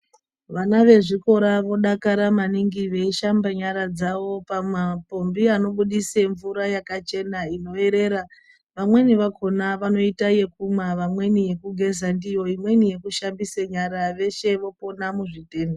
Vana vezvikora vodakara maningi veishambe nyara dzayo pamapombi anobudise mvura yakachena inoerera vamweni vakona vanoite yekumwa, vamweni yekugeza ndiyo, imweni yekushambise nyara veshe vopona muzvitenda.